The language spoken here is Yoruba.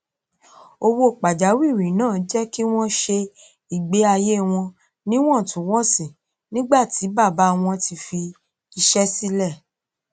owó pàjáwìrí náà jẹ kí wọn ṣe ìgbé àyé wọn níwọntúnwọnsì nígbà ti bàbá wọn ti fi iṣẹ sílẹ